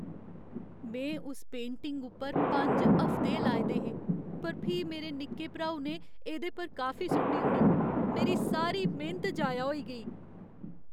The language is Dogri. में उस पेंटिंग उप्पर पंज हफ्ते लाए दे हे पर फ्ही मेरे निक्के भ्राऊ ने एह्दे पर काफी सु'ट्टी ओड़ी। मेरी सारी मेह्नत जाया होई गेई।